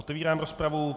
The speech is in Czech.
Otevírám rozpravu.